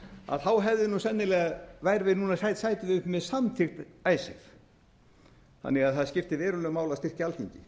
og orðið sauðasmölun sætum við uppi með samþykkt icesave þannig að það skiptir verulegu máli að styrkja alþingi